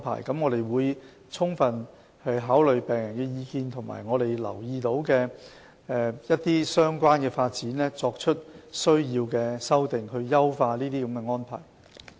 我們會充分考慮病人的意見，以及我們留意到的一些相關發展，作出所需的修訂，以優化這些安排。